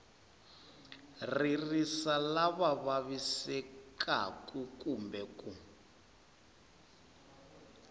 ririsa lava vavisekaku kumbe ku